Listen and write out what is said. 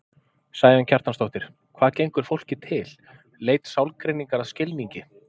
Sæunn Kjartansdóttir, Hvað gengur fólki til?: Leit sálgreiningar að skilningi.